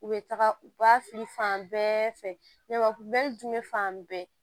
U bɛ taga u ba fili fan bɛɛ fɛ jumɛn fan bɛɛ